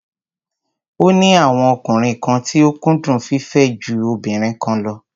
Ó ní àwọn ọkùnrin kan tí ó kúndùn fífẹ́ ju obìnrin kan lọ.